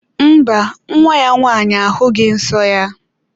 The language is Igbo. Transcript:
Mba, nwa ya nwaanyị ahughi nsọ ya.